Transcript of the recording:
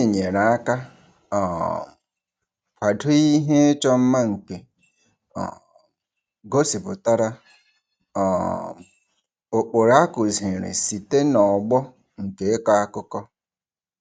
Anyị nyere aka um kwado ihe ịchọ mma nke um gosipụtara um ụkpụrụ a kụziiri site n'ọgbọ nke ịkọ akụkọ.